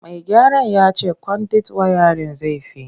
Mai gyaran ya ce kwandit wayarin zai fi.